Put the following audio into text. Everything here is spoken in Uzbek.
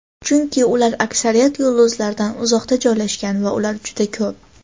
chunki ular aksariyat yulduzlardan uzoqda joylashgan va ular juda ko‘p.